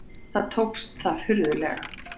Þó tókst það furðanlega.